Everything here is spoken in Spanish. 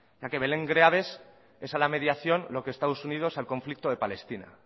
ya que belén greaves es a la mediación lo que estados unidos al conflicto de palestina